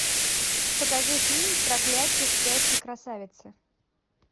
покажи фильм проклятье спящей красавицы